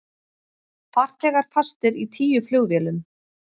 Farþegar fastir í tíu flugvélum